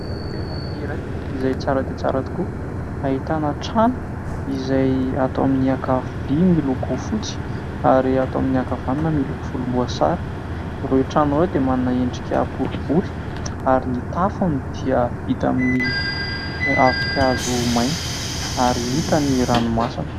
Toerana iray izay tsara dia tsara tokoa ahitana trano izay ato amin'ny ankavia miloko fotsy ary ato amin'ny ankavanana miloko volomboasary, ireo trano ireo dia manana endrika boribory ary ny tafony dia vita amin'ny ravin-kazo maina ary hita ny ranomasina.